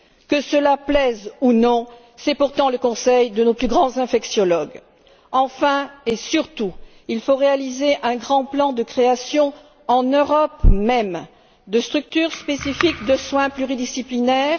Que cela plaise ou non, c'est pourtant le conseil de nos plus grands infectiologues. Enfin et surtout, il faut réaliser un grand plan de création, en Europe même, de structures spécifiques de soins pluridisciplinaires.